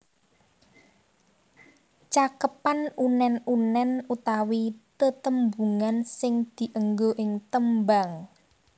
Cakepan unèn unèn utawi tetembungan sing dienggo ing tembang